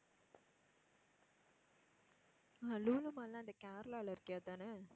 ஆஹ் Lulu mall ன்னா அந்த கேரளால இருக்கே அதானே?